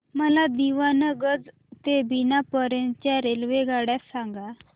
मला दीवाणगंज ते बिना पर्यंत च्या रेल्वेगाड्या सांगा